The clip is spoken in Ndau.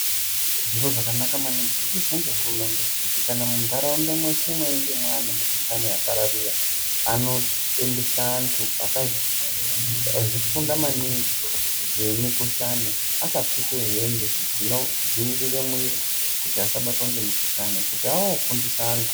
Zviro zvakanaka maningi zvirikuizwa ngehurumende kuti kana munharaunda mweshe mweinge mwaane mukhulhlane yapararira anoendese antu akazvifunda maningi zvemikhullane akapfeke hembe dzinodziirire mwiri kuti asabatwa ngemukhuhlani kuti anofundisa antu.